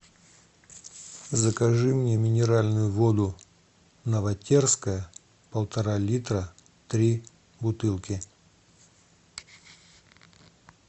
закажи мне минеральную воду новотерская полтора литра три бутылки